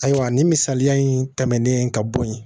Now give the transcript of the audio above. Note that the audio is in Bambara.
Ayiwa nin misaliya in tɛmɛnen ka bɔ yen